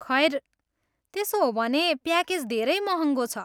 खैर, त्यसो हो भने, प्याकेज धेरै महँगो छ।